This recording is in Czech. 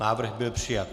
Návrh byl přijat.